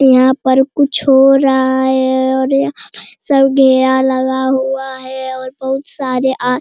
यहाँ पर कुछ हो रहा है और यहाँ पर सब घेरा लगा हुआ है और बहुत सारे आ --